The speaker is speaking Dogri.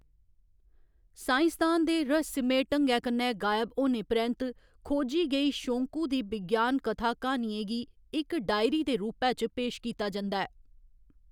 साईंसदान दे रहस्यमय ढंगै कन्नै गायब होने परैंत्त खोजी गेई शोंकू दी विज्ञान कथा क्हानियें गी इक डायरी दे रूपै च पेश कीता जंदा ऐ।